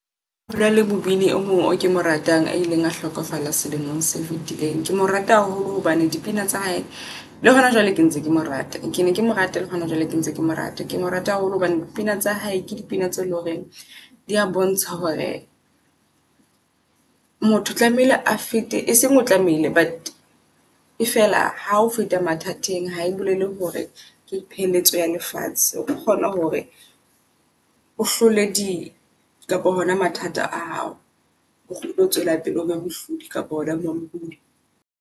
Hona le mobini e mong o kemo ratang a ileng a hlokofala selemong se fetileng. Ke mo rata haholo hobane dipina tsa hae le hona jwale ke ntse ke mo rata kene ke mo rate le hona jwale ke ntse ke mo rate. Kemo Rata haholo hobane dipina tsa hae ke dipina tse loreng dia bontsha hore motho o tlamehile a fete e seng o tlamehile. But e fela ha ho feta mathateng hae bolele hore ke pheletso ya lefatshe. O kgona hore o hloile di kapa hona mathata a hao. O kgutle tswele pele o be mohlodi kapa ona mampudi.